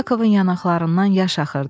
Yakovun yanaqlarından yaş axırdı.